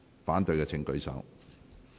反對的請舉手。